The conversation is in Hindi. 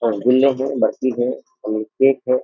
और हैं बर्फ़ी हैं केक हैं।